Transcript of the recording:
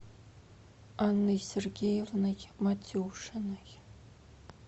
анной сергеевной матюшиной